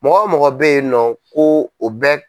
Mɔgɔ mɔgɔ bɛ yen nɔ ko o bɛɛ.